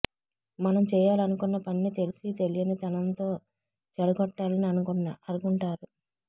మనం చేయాలనుకున్న పనిని తెలిసి తెలియని తనంతో చెడగొట్టాలని అనుకుంటారు